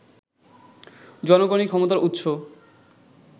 জনগণই ক্ষমতার উৎস